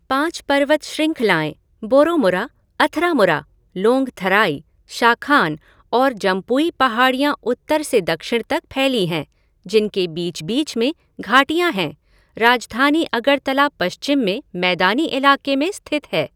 पाँच पर्वत श्रंखलाएं बोरोमुरा, अथरामुरा, लोंगथराई, शाखान और जम्पुई पहाड़ियाँ उत्तर से दक्षिण तक फैली हैं जिनके बीच बीच में घाटियाँ है, राजधानी अगरतला पश्चिम में मैदानी इलाके में स्थित है।